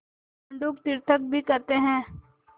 मंडूक तीर्थक भी कहते हैं